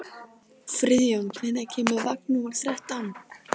Friðjón, hvenær kemur vagn númer þrettán?